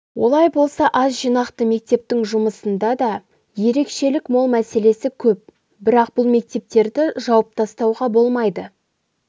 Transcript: олай болса аз жинақты мектептің жұмысында да ерекшелік мол мәселесі көп бірақ бұл мектептерді жауып тастауға болмайды